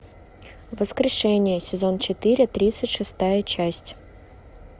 воскрешение сезон четыре тридцать шестая часть